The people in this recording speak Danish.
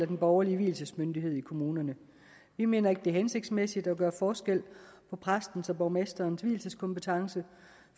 den borgerlige vielsesmyndighed i kommunen vi mener ikke det er hensigtsmæssigt at gøre forskel på præstens og borgmesterens vielseskompetence